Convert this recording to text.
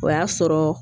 O y'a sɔrɔ